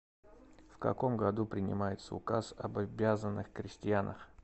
в каком году принимается указ об обязанных крестьянах